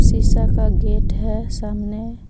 शीशा का गेट है सामने।